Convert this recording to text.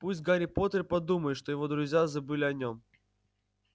пусть гарри поттер подумает что его друзья забыли о нём